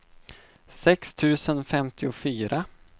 sex tusen femtiofyra